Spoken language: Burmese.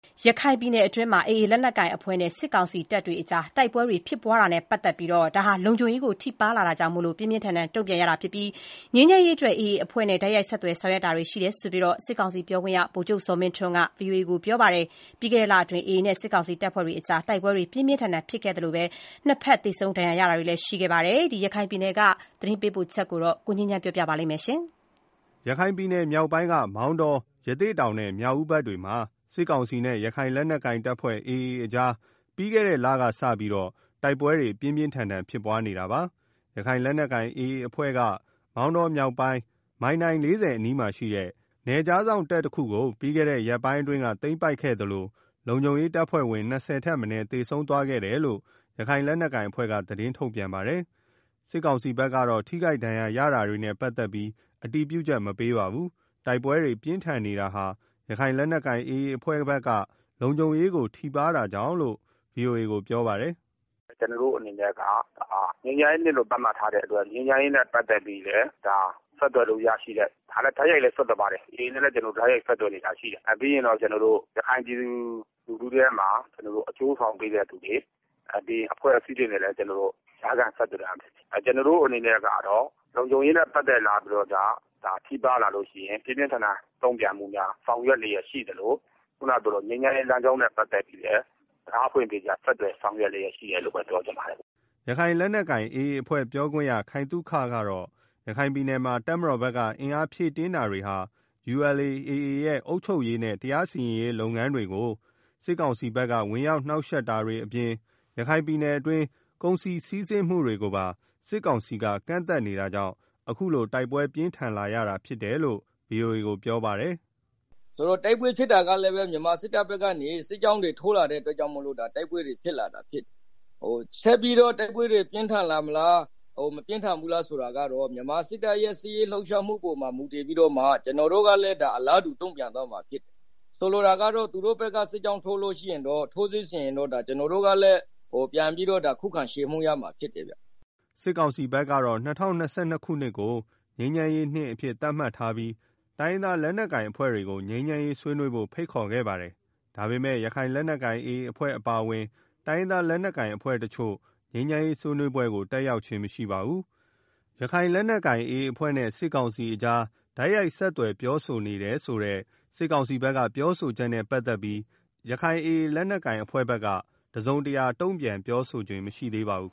ရခိုင်ပြည်နယ်အတွင်း AA လက်နက်ကိုင်အဖွဲ့နဲ့ စစ်ကောင်စီတပ်တွေကြား တိုက် ပွဲတွေဟာ လုံခြုံရေးကိုထိပါးလာတာကြောင့် ပြင်းပြင်းထန်ထန် တုံ့ပြန်ရတာဖြစ်ပြီး ငြိမ်းချမ်းရေးအတွက် AA အဖွဲ့နဲ့ တိုက်ရိုက် ဆက်သွယ် ဆောင်ရွက်နေတာတွေ ရှိကြောင်း စစ်ကောင်စီပြောခွင့်ရ ဗိုလ်ချုပ် ဇော်မင်းထွန်းက VOA ကို ပြောပါတယ်။ ပြီးခဲ့ လအတွင်း AA နဲ့ စစ်ကောင်စီတပ်ဖွဲ့ကြား တိုက်ပွဲပြင်းပြင်းထန်ထန် ဖြစ်နေသလို နှစ်က် သေဆုံးဒဏ်ရာ ရတွေလည်း ရှိခဲ့ပါတယ်။ ရခိုင်ပြည်နယ်အခြေအနေ သတင်းပေးပို့ချက်ကို ကိုငြိမ်းချမ်းက တင်ပြပေးထားပါတယ်။ ရခိုင်မြောက်ပိုင်းက မောင်တော၊ ရသေ့တောင်နဲ့ မြောက်ဦးဘက်တွေမှာ စစ်ကောင်စီနဲ့ ရခိုင်လက်နက်ကိုင်AAအဖွဲ့ကြား ပြီးခဲ့တဲ့ လကစပြီးတော့ တိုက်ပွဲပြင်းပြင်း ထန်ထန်ဖြစ် ပွားနေတာပါ။ ရခိုင်လက်နက်ကိုင် AA အဖွဲ့ဘက်က မောင်တော မြောက်ပိုင်း မိုင်တိုင် အနီးမှာ ရှိတဲ့ နယ်ခြားစောင့်တပ်တခုကို ပြီးခဲ့တဲ့ရက်ပိုင်းက သိမ်းပိုက်ခဲ့သလို လုံခြုံရေးတပ်ဖွဲ့ဝင် ၂၀ ထက် မနည်း သေဆုံးသွားခဲ့တယ်လို့ ရခိုင်လက်နက်ကိုင်အဖွဲ့က သတင်းထုတ်ပြန်ပါတယ်။ စစ်ကောင်စီဘက်ကတော့ ထိုခိုက်ဒဏ်ရာရတာတွေနဲ့ ပတ်သက်လို့ အတည်ပြုချက်မပေးပါဘူး။ တိုက်ပွဲတွေ ပြင်းထန်နေတာဟာ ရခိုင်လက်နက်ကိုင် အဖွဲ့ဘက်က လုံခြုံရေးကို ထိပါးတာကြောင့် တုံ့ပြန်တာလို့ VOA ကိုပြောပါတယ်။ “ ကျနော်တို့အနေနဲ့ ငြိမ်းချမ်းရေးနှစ်လို့ သတ်မှတ်ထားတဲ့အတွက် ဆက်သွယ်လို့ ရတဲ့ AAနဲ့ လည်းကျနော်တို့ တိုက်ရိုက်လည်းဆက်သွယ်နေတာရှိပါတယ်။ ပြီးတော့ ရခိုင်ပြည် သူလူထုထဲမှာ အကျိုးဆောင်ပေးတဲ့သူတွေ၊ အဖွဲ့အစည်းတွေနဲ့လည်း ဆက်သွယ် ဆောင်ရွက်တာရှိတယ်။ ကျနော်တို့အနေနဲ့ကတော့ လုံခြုံရေးနဲ့ပတ်သက်ပြီး ထိပါးလာလို့ရှိရင် ပြင်းပြင်းထန်ထန် တုံ့ပြန်မှုများ ဆောင်ရွက် လျက်ရှိသလို ငြိမ်းချမ်းရေးလမ်းကြောင်းနဲ့ ပတ်သက်ပြီး တံခါးဖွင့်ပြီးတော့ ဆက်သွယ် ဆောင်ရွက်လျက်ရှိတယ်လို့ ပြောချင်ပါတယ်။” ရခိုင်လက်နက်ကိုင် AA အဖွဲ့ပြောခွင့်ရ ခိုင်သုခကတော့ ရခိုင်ပြည်နယ်မှာ တပ်မတောက်ဘက်က အင်းအားဖြည့်တင်းတာတွေ ULA/AA ရဲ့ အုပ်ချုပ်ရေးနဲ့ တရားစီရင်ရေးလုပ်ငန်းတွေကို စစ်ကောင်စီဘက်က ဝင်ရောက်နှောင့်ယှက်တာတွေအပြင် ရခိုင်ပြည်နယ်အတွင်း ကုန်စည်စီးဆင်းမှုတွေကိုပါ စစ်ကောင်စီက ကန့်သတ်နေတာကြောင့် အခုလို တိုက်ပွဲ ပြင်းထန်လာတာရဖြစ်တယ်လို့လည်း ဗွီအိုအေကို ပြောဆိုထားပါတယ်။ “တိုက်ပွဲဖြစ်တာကလည်း မြန်မာစစ်တပ်ဘက်က စစ်ကြောင်းတွေ ထိုးလာတာကြောင့် တိုက်ပွဲဖြစ်လာတာဖြစ်တယ်။ ဆက်ပြီးတော့ တိုက်ပွဲတွေ ပြင်းထန်လာမလား မပြင်းထန်ဘူးလားဆိုတာကတော့ မြန်မာစစ်တပ်ရဲ့ စစ်ရေးလှုပ်ရှားမှုပေါ်မှာ မူတည်ပြီးတော့ ကျနော်တို့ဘက်ကလည်း အလားတူတုံ့ပြန်သွားမှာဖြစ်တယ်။ ဆိုလိုတာက သူတို့က ထိုးစစ်ဆင်ရင် ကျနော်တို့ကလည်း ခုခံတိုက်ခိုက်သွားမှာဖြစ်တယ်ဗျာ။” စစ်ကောင်စီဘက်ကတော့ ၂၀၂၂ ခုနှစ်ကို ငြိမ်းချမ်းနှစ်အဖြစ်သတ်မှတ်ထားပြီး တိုင်းရင်းလက် နက်ကိုင်အဖွဲ့တွေကို ငြိမ်းချမ်းရေး ဆွေးနွေးဖို့ ဖိတ်ခေါ်ခဲ့ပါတယ်။ ဒါပေမယ့် ရခိုင်လက်နက်ကိုင် AA အဖွဲ့အပါအဝင် တိုင်းရင်းသားလက်နက်ကိုင်အဖွဲ့တချို့ ငြိမ်းချမ်းရေးဆွေးနွေးပွဲကို တက်ရောက်ခြင်း မရှိပါဘူး။ စစ်ကောင်စီဘက်က ဒီကနေ့ ပြောဆိုတဲ့ ရခိုင်လက်နက်ကိုင် AA အဖွဲ့နဲ့ စစ်ကောင်စီကြား တိုက်ရိုက်ဆက်သွယ် ဆောင်ရွက်နေတယ်ဆိုတဲ့ ပြောဆိုချက်နဲ့ ပတ်သတ်ပြီးတော့ ရခိုင်လက်နက်ကိုင် AA အဖွဲ့ဘက်က တုံ့ပြန်ချက်တစုံတရာ ပြောဆိုခြင်း မရှိသေးပါဘူး